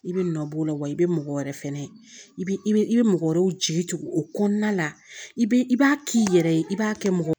I bɛ nɔbɔ o la wa i bɛ mɔgɔ wɛrɛ fɛnɛ i bɛ i bɛ i bɛ mɔgɔ wɛrɛw jigi o kɔnɔna la i bɛ i b'a k'i yɛrɛ ye i b'a kɛ mɔgɔ